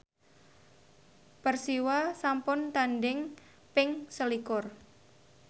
Persiwa sampun tandhing ping selikur